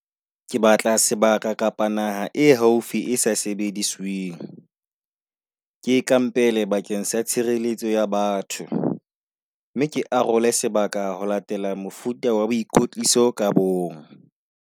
Ke batla sebaka kapa naha e haufi e sa sebedisweng, ke e kampele bakeng sa tshireletso ya batho mme ke arole sebaka ho latela mofuta wa boikotliso ka bong.